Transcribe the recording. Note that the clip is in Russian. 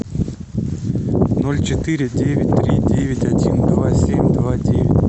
ноль четыре девять три девять один два семь два девять